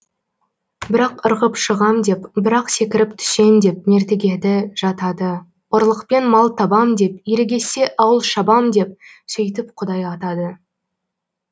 бір ақ ырғып шығам деп бір ақ секіріп түсем деп мертігеді жатады ұрлықпен мал табам деп ерегессе ауыл шабам деп сөйтіп құдай атады